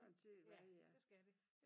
Ja det skal de